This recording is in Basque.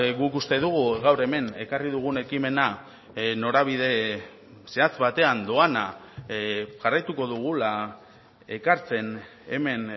guk uste dugu gaur hemen ekarri dugun ekimena norabide zehatz batean doana jarraituko dugula ekartzen hemen